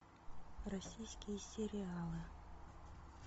российские сериалы